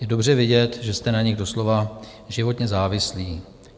Je dobře vidět, že jste na nich doslova životně závislí.